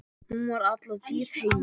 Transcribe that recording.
Hún var alla tíð heima.